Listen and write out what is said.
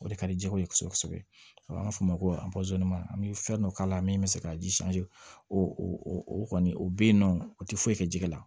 O de ka di jɛgɛ ye kosɛbɛ kosɛbɛ an b'a fɔ o ma ko an bɛ fɛn dɔ k'a la min bɛ se ka ji o o kɔni o bɛ yen nɔ o tɛ foyi kɛ jɛgɛ la